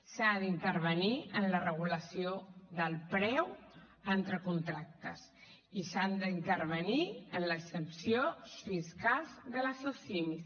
s’ha d’intervenir en la regulació del preu entre contractes i s’ha d’intervenir en les exempcions fiscals de les socimis